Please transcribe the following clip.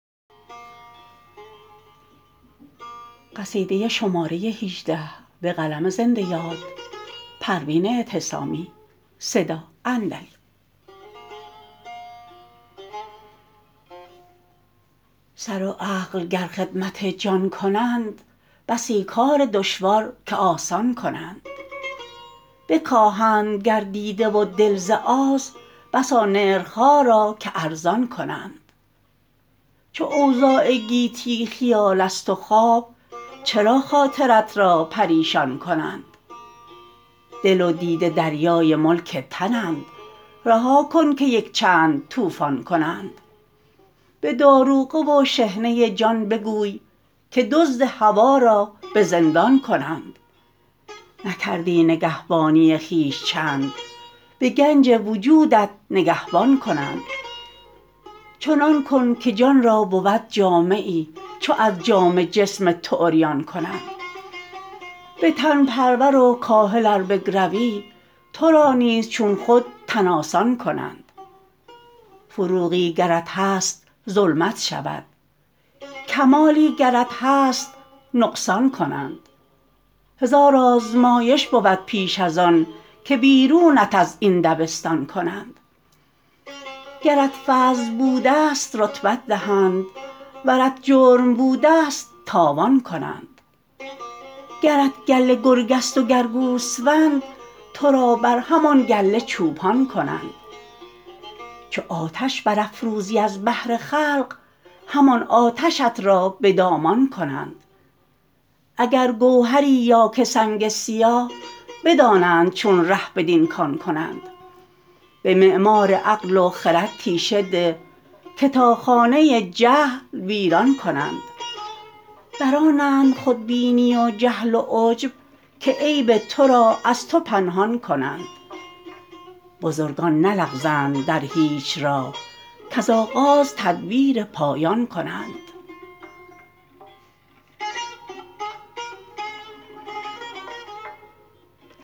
سر و عقل گر خدمت جان کنند بسی کار دشوار ک آسان کنند بکاهند گر دیده و دل ز آز بسا نرخها را که ارزان کنند چو اوضاع گیتی خیال است و خواب چرا خاطرت را پریشان کنند دل و دیده دریای ملک تنند رها کن که یک چند طوفان کنند به داروغه و شحنه جان بگوی که دزد هوی را بزندان کنند نکردی نگهبانی خویش چند به گنج وجودت نگهبان کنند چنان کن که جان را بود جامه ای چو از جامه جسم تو عریان کنند به تن پرور و کاهل ار بگروی ترا نیز چون خود تن آسان کنند فروغی گرت هست ظلمت شود کمالی گرت هست نقصان کنند هزار آزمایش بود پیش از آن که بیرونت از این دبستان کنند گرت فضل بوده است رتبت دهند ورت جرم بوده است تاوان کنند گرت گله گرگ است و گر گوسفند ترا بر همان گله چوپان کنند چو آتش برافروزی از بهر خلق همان آتشت را بدامان کنند اگر گوهری یا که سنگ سیاه بدانند چون ره بدین کان کنند به معمار عقل و خرد تیشه ده که تا خانه جهل ویران کنند برآنند خودبینی و جهل و عجب که عیب تو را از تو پنهان کنند بزرگان نلغزند در هیچ راه کز آغاز تدبیر پایان کنند